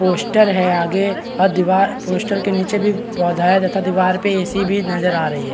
Poster है आगे अ दिवार पोस्टर के नीचे भी पौधा है तथा दिवार पे ए.सी. भी नजर आ रही है ।